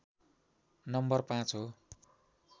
number ५ हो